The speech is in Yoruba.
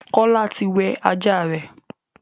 Kola tí wẹ ajá rẹ.